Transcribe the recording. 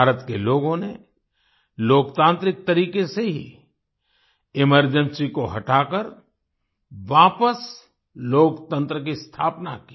भारत के लोगों ने लोकतांत्रिक तरीके से ही एमरजेंसी को हटाकर वापस लोकतंत्र की स्थापना की